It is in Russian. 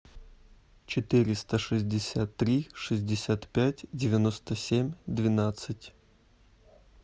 четыреста шестьдесят три шестьдесят пять девяносто семь двенадцать